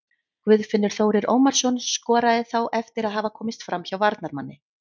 Guðfinnur Þórir Ómarsson skoraði þá eftir að hafa komist framhjá varnarmanni.